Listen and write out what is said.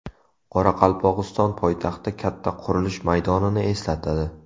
Qoraqalpog‘iston poytaxti katta qurilish maydonini eslatadi.